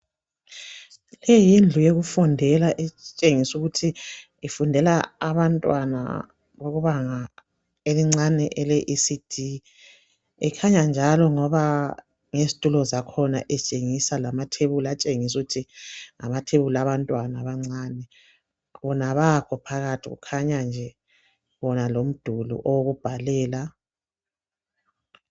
Le yindlu yokufundela etshengisa ukuthi ofundela abantwana bebanga elincane le ECD ekhanya njalo loba ngezitulo zakhona etshengisa lamathebuli atshengisa ukuthi ngawabantwana abancane bona abakho phakathi kukhanya nje wona umduli wokubhalela